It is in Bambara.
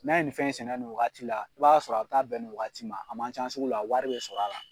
N'an ye nin fɛn in sɛnɛ nin wagati la i b'a sɔrɔ a bɛ taa bɛn nin wagati ma. A man can sugu la, wari bɛ sɔr'a la.